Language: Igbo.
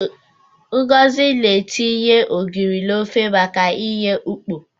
Ngozi na-etinye ogiri n'ofe maka inye ukpo.